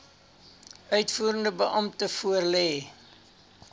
uitvoerende beampte voorlê